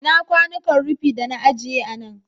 Ina kwanuka rufi da na agiye a nan?